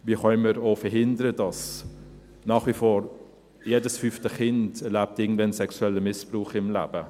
Wie können wir auch verhindern, dass nach wie vor jedes fünfte Kind irgendwann im Leben sexuellen Missbrauch erlebt?